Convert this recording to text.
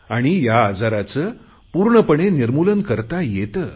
आणि या आजाराचे पूर्णपणे निर्मूलन करता येते